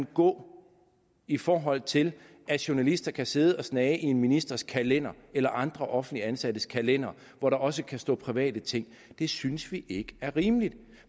gå i forhold til at journalister kan sidde og snage i en ministers kalender eller andre offentligt ansattes kalendere hvor der også kan stå private ting det synes vi ikke er rimeligt